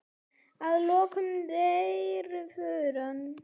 Að lokum deyr fruman.